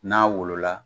N'a wolo la